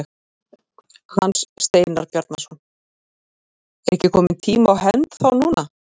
Hans Steinar Bjarnason: Er ekki kominn tími á hefnd þá núna?